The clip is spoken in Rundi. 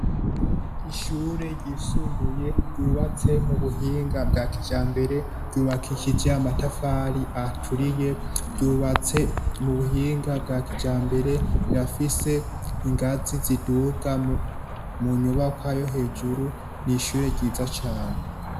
Ishure ryisumbuye ryubatse mu buhinga bwa kijambere ryubakishije amatafari aturiye ryubatse mu buhinga bwa kijambere rirafise ingazi ziduga mu nyubakwa yo hejuru n’ishure ryiza cane.